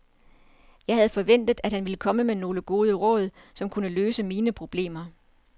Jeg havde forventet, at han ville komme med nogle gode råd, som kunne løse mine problemer.